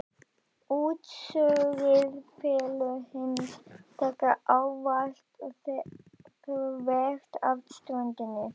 Útsogið fellur hins vegar ávallt þvert af ströndinni.